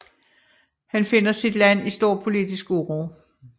Han finder sit land i stor politisk uro